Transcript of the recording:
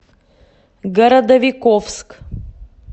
городовиковск